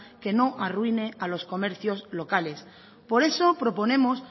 que no arruine a los comercios locales por eso proponemos